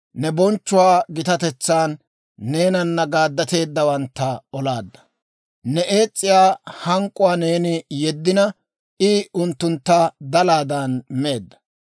Ne bonchchuwaa gitatetsaan neenana gaaddateeddawantta olaadda. Ne ees's'iyaa hank'k'uwaa neeni yeddina, I unttuntta dalaadan meedda.